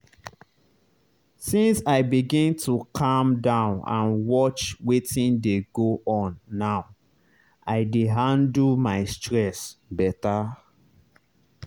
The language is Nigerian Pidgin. since i begin to calm down and watch wetin dey go on now i dey handle my stress better.